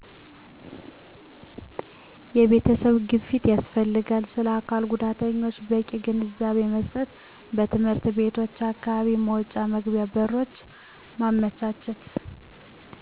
የቤተሰብ ግፊት ያስፈልጋል ስለአካልጉዳተኞች በቂ ግንዛቤመስጠት በትምህርት ቤቶች አካባቢ መውጫ መግቢያ በሮችን ማመቻቸት